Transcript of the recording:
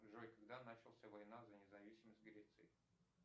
джой когда начался война за независимость греции